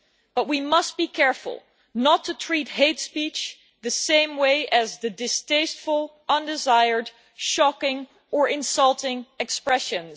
But we must be careful not to treat hate speech the same way as distasteful, undesired, shocking or insulting expressions.